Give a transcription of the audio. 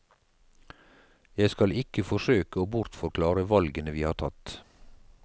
Jeg skal ikke forsøke å bortforklare valgene vi har tatt.